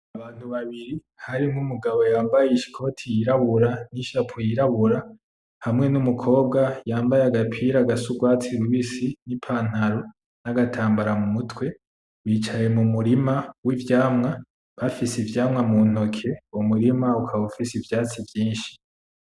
Abantu babiri harimwo umugabo yambaye ikoti y’irabura n’ichapo yirabura hamwe n’umukobwa yambaye agapira gasa n’urwatsi rubisi n’ipantaro n’agatambara mumutwe , bicaye mumurima w’ivyamwa bafise ivyamwa mu ntoke. Uwo murima ukaba ufise ivyatsi vyinshi